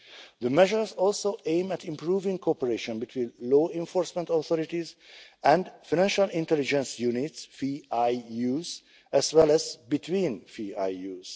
The measures also aim at improving cooperation between law enforcement authorities and financial intelligence units as well as between FIUs.